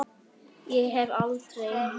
Ég hef aldrei.